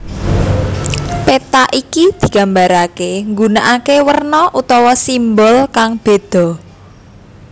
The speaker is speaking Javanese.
Péta iki digambaraké nggunakaké werna utawa simbol kang bédha